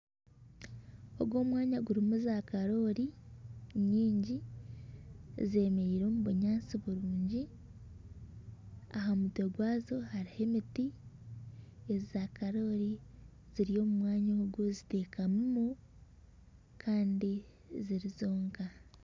Ogu omwanya gurimu zakarori nyingi zemereire omu binyaatsi birungi aha mutwe gwazo hariho emiti. Zaakarori ziri omu mwanya ogu zitekamiremu kandi ziri zonka.